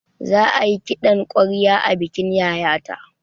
Za ayi kiɗan ƙwarya a bikin yayata